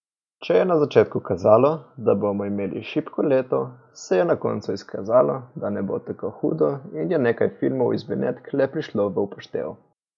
Če je na začetku kazalo, da bomo imeli šibko leto, se je na koncu izkazalo, da ne bo tako hudo in je nekaj filmov iz Benetk le prišlo v upoštev.